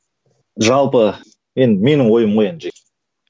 жалпы енді менің ойым ғой енді